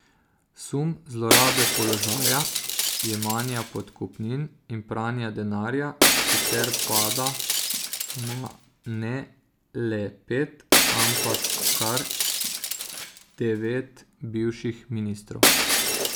Sum zlorabe položaja, jemanja podkupnin in pranja denarja sicer pada na ne le pet, ampak kar devet bivših ministrov.